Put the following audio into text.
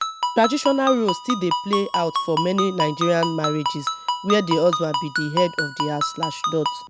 traditional roles still dey play out for many nigerian marrriages where di husband be di head of di house slash dot